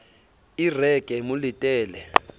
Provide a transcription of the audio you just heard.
e re ke mo letele